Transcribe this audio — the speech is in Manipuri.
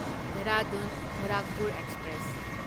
ꯗꯦꯍꯔꯥꯗꯨꯟ ꯒꯣꯔꯥꯈꯄꯨꯔ ꯑꯦꯛꯁꯄ꯭ꯔꯦꯁ